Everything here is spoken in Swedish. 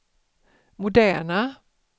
moderna